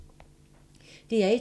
DR1